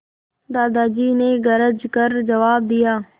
दादाजी ने गरज कर जवाब दिया